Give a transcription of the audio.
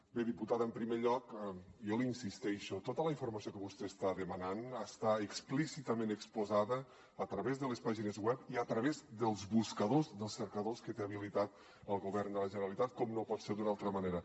bé diputada en primer lloc jo hi insisteixo tota la informació que vostè està demanant està explícitament exposada a través de les pàgines web i a través dels buscadors dels cercadors que té habilitats el govern de la generalitat com no pot ser d’una altra manera